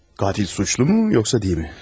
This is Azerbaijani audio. Qatil günahkardırmı, yoxsa deyilmi?